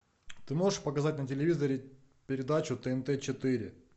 ты можешь показать на телевизоре передачу тнт четыре